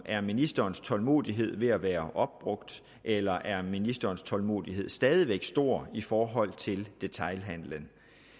er ministerens tålmodighed ved at være opbrugt eller er ministerens tålmodighed stadig væk stor i forhold til detailhandelen